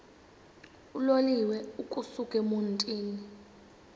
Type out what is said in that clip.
uloliwe ukusuk emontini